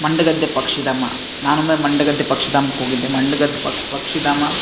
ಮಂಡಗದ್ದೆ ಪಕ್ಷಿಧಾಮ ನಾನೊಮ್ಮೆ ಮಂಡಗದ್ದೆ ಪಕ್ಷಿಧಾಮಕ್ಕೆ ಹೋಗಿದ್ದೆ ಮಂಡಗದ್ದೆ ಪಕ್ಷಿಧಾಮ-